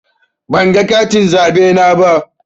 Ban ga katin zaɓe na ba.